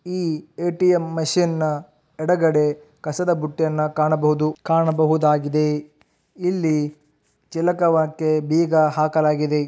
ಈ ATM machine ನ ಎಡಗಡೆ ಕಸದ ಬುಟ್ಟಿಯನ್ನು ಕಾಣಬಹುದು ಕಾಣಬಹುದಾಗಿದೆ ಮತ್ತು ಇಲ್ಲಿ ಚಿಲಕ ಹಾಕಿ ಬೀಗ ಹಾಕಲಾಗಿದೆ.